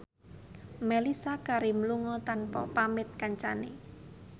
Mellisa Karim lunga tanpa pamit kancane